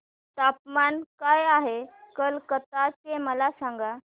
तापमान काय आहे कलकत्ता चे मला सांगा